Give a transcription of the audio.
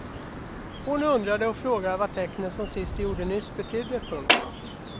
Hon undrade och frågade vad tecknet som syster gjorde nyss betydde. punkt